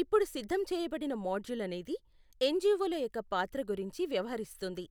ఇప్పుడు సిద్ధం చేయబడిన మాడ్యూల్ అనేది ఎన్జివోల యొక్క పాత్ర గురించి వ్యవహరిస్తుంది.